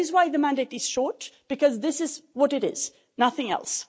That is why the mandate is short, because this is what it is nothing else.